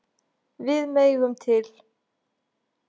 Við megum til.